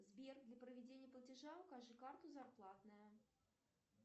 сбер для проведения платежа укажи карту зарплатная